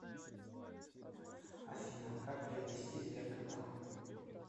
афина как приобрести сберкота